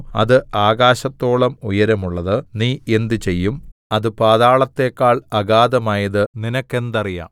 അത് ആകാശത്തോളം ഉയരമുള്ളത് നീ എന്ത് ചെയ്യും അത് പാതാളത്തേക്കാൾ അഗാധമായത് നിനക്കെന്തറിയാം